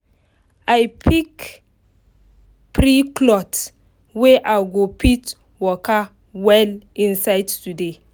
i pick free cloth wey i go fit waka well inside today